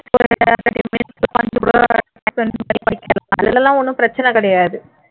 அதிலே எல்லாம் ஒண்ணும் பிரச்சினை கிடையாது